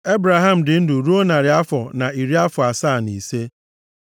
Ebraham dị ndụ ruo narị afọ na iri afọ asaa na ise.